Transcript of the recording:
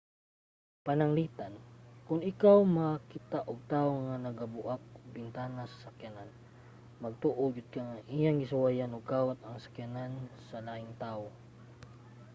pananglitan kon ikaw makakita og tawo nga nagabuak og bintana sa sakyanan magtuo gyud ka nga iyang gisuwayan og kawat ang sakyanan sa laing tawo